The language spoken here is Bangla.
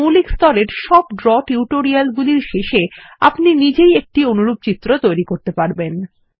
মৌলিক স্তর এর সব ড্র টিউটোরিয়াল গুলির শেষে আপনি নিজেই একটি অনুরূপ চিত্র তৈরি করতে পারবেন